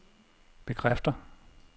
bekræfter